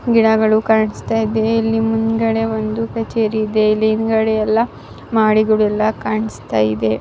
ಗಿಡಗಳು ಕಾಣಿಸ್ತಾ ಇದೆ ಇಲ್ಲಿ ಮುಂದ್ಗಡೆ ಒಂದು ಕಛೇರಿ ಇದೆ ಇಲ್ಲಿ ಹಿಂಗದೆ ಎಲ್ಲ ಮಾದಿಗಳು ಎಲ್ಲ ಕಾಣ್ಸ್ಟ್ ಇದೆ.